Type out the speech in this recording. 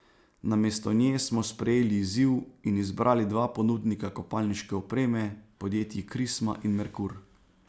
Namesto nje smo sprejeli izziv in izbrali dva ponudnika kopalniške opreme, podjetji Krisma in Merkur.